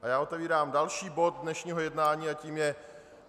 A já otevírám další bod dnešního jednání a tím je